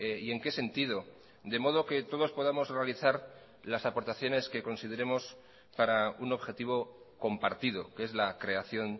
y en qué sentido de modo que todos podamos realizar las aportaciones que consideremos para un objetivo compartido que es la creación